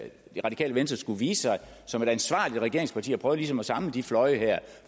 det radikale venstre skulle vise sig som et ansvarligt regeringsparti og prøve ligesom at samle de fløje her